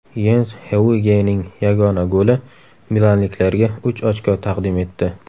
Yens Heugening yagona goli milanliklarga uch ochko taqdim etdi.